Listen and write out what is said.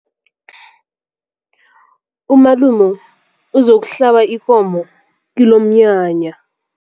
Umalume uzokuhlaba ikomo kilomnyanya.